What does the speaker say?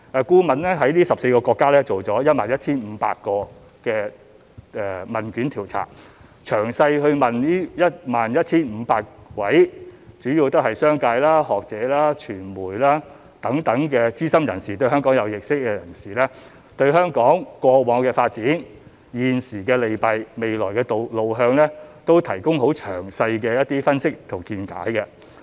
顧問在這14個國家進行了 11,500 份問卷調查，詳細訪問了 11,500 位主要是商界、學者、傳媒等資深人士，以及對香港有認識的人士，就他們對香港過往的發展、現時的利弊及未來的路向都提供了很詳細的分析和見解。